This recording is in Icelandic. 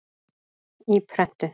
Í prentun.